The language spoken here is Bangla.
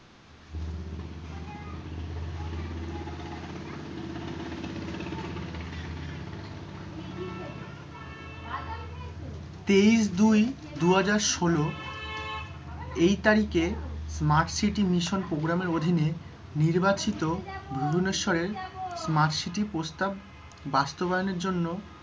তেইশ, দুই, দুহাজার ষোলো, এই তারিখে smart city মিশন প্রোগ্রামের অধীনে নির্বাচিত ভুবনেশ্বরের smart city প্রস্তাব বাস্তবায়নের জন্য,